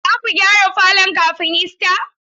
Zaku gyara falon kafin Ista?